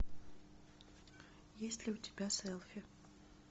есть ли у тебя селфи